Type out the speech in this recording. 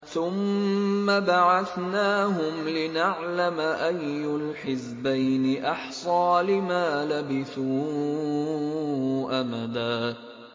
ثُمَّ بَعَثْنَاهُمْ لِنَعْلَمَ أَيُّ الْحِزْبَيْنِ أَحْصَىٰ لِمَا لَبِثُوا أَمَدًا